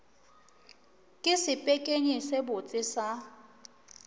ke sepekenyi se sebotse sa